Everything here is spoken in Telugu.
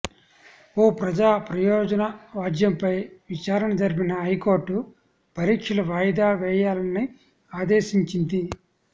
ఓ ప్రజా ప్రయోజనవాజ్యంపై విచారణ జరిపిన హైకోర్టు పరీక్షలు వాయిదా వేయాలని ఆదేశించింది